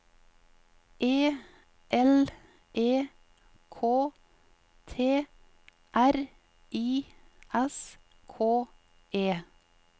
E L E K T R I S K E